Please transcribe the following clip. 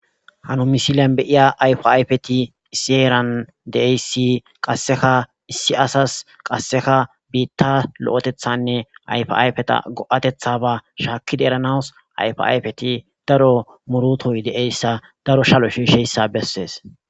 hano misilian beiya ayfayfeti isieran deeyssi qasseka issi asas qasseka biitta lo7etethanne yfayfeta go7atetha ba shaakkida eranaws ayfayfeti daro murutoy deeyssa daro shalo shiisheyssa bessees